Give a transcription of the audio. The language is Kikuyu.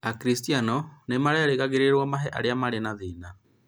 Akristiano nĩ merĩgagĩrĩrũo mahe arĩa marĩ na thĩna